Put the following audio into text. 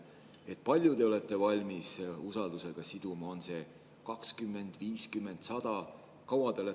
Kui palju te olete valmis usaldus siduma, kas 20, 50, 100?